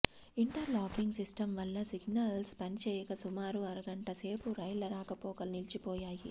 inter locking సిస్టంవల్ల signals పనిచేయక సుమారు అరగంట సేపు రైళ్ల రాకపోకలు నిలిచిపోయాయి